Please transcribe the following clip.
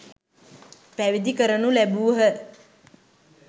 පැවිදි කරනු ලැබූහ.